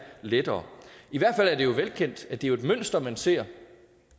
lettere i hvert fald er det jo velkendt at det er et mønster man ser